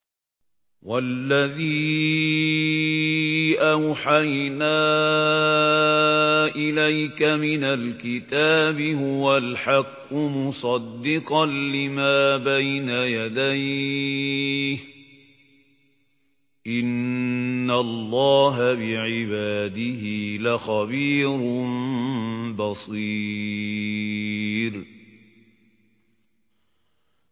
وَالَّذِي أَوْحَيْنَا إِلَيْكَ مِنَ الْكِتَابِ هُوَ الْحَقُّ مُصَدِّقًا لِّمَا بَيْنَ يَدَيْهِ ۗ إِنَّ اللَّهَ بِعِبَادِهِ لَخَبِيرٌ بَصِيرٌ